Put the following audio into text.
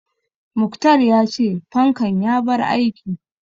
Muktar ya ce fankan ya bar aiki